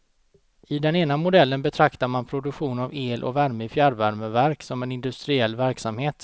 I den ena modellen betraktar man produktion av el och värme i fjärrvärmeverk som en industriell verksamhet.